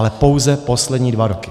Ale pouze poslední dva roky.